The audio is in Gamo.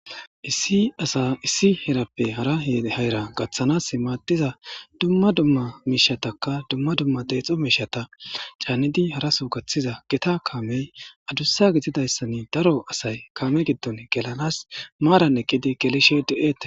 Issi asa issi herappe hara hera gathas go'iza duma duma mishataka duma duma detho mishata canidi haraso gathiza gita kamey adusa gididaysan daro asay kame gido gelanas maran eqidi gelishe de'etes